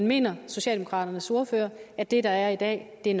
mener socialdemokraternes ordfører at det der i dag er